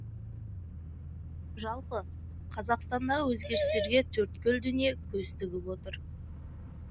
жалпы қазақстандағы өзгерістерге төрткүл дүние көз тігіп отыр